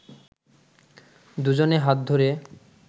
দুজনে হাত ধরে